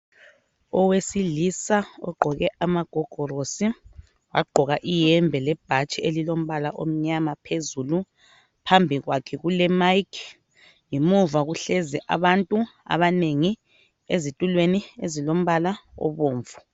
Owesilisa ogqoke amagogorosi wagqoka iyembe lebhatshi elilombala omnyama phezulu . Phambi kwakhe kule mic ngemuva kuhlezi abantu abanengi ezitulweni ezilombala obomvu.